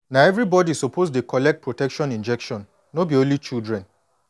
na everybody suppose dey collect protection injection no be only children